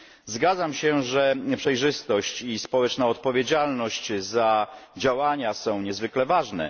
Zgadzam się, że przejrzystość i społeczna odpowiedzialność za działania są niezwykle ważne.